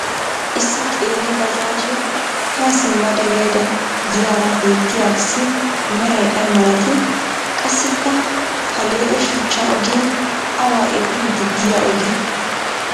issi qeeri baajaajjiya haa simmada yaydda diyaara beettiyaarissi meray ay malatii? qassi ha lee"e shuchcha ogee awa epiidi diya ogee?